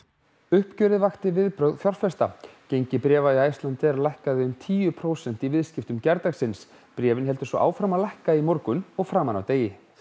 uppgjörið vakti viðbrögð fjárfesta gengi bréfa í Icelandair lækkaði um tíu prósent í viðskiptum gærdagsins bréfin héldu áfram að lækka í morgun og framan af degi